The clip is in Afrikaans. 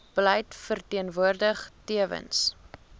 beleid verteenwoordig tewens